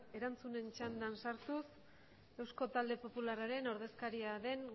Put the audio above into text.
erantzunen txandan sartuz eusko talde popularraren ordezkaria den